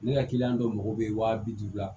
Ne ka kiliyan dɔw mako bɛ wa bi duuru la